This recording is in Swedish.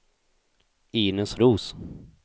Inez Roos